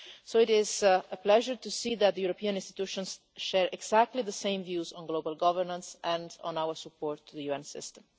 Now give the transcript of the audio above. It is a pleasure to see that the European institutions share exactly the same views on global governance and on our support to the UN system.